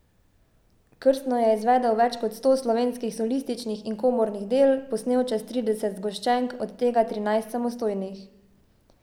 Krstno je izvedel več kot sto slovenskih solističnih in komornih del, posnel čez trideset zgoščenk, od tega trinajst samostojnih.